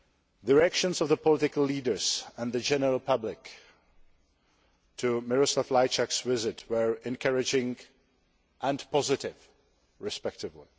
The reactions of the political leaders and the general public to Miroslav Lajčák's visit were encouraging and positive respectively.